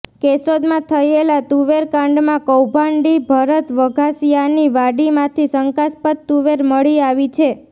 કેશોદમાં થયેલા તુવેરકાંડમાં કૌભાંડી ભરત વઘાસિયાની વાડીમાંથી શંકાસ્પદ તુવેર મળી આવી છે